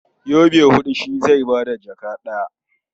Yobe huɗu shi zai ba da jaka ɗaya.